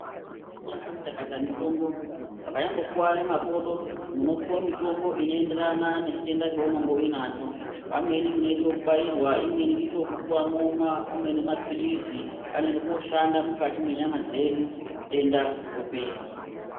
Yakati chakata mitombo vakanyambokuware makodo munopuwa mitombo inoenderana nechitenda chaunenge uinacho, vamweni munoite ekubairwa, amweni moite ekupuwa momwa, amweni maphilizi anoende koshanda mukati mwenyama dzedu zvitenda zvopera.